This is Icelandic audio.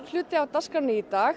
hluti af dagskránni í dag